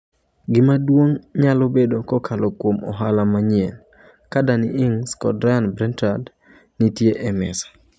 Gima duong' nyalo bedo kokalo kuom ohala manyien, ka Danny Ings kod Ryan Bertrand nitie e mesa.